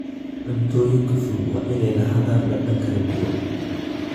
Cuntooyinka fudud waa inay lahaadaan dhadhan kala duwan.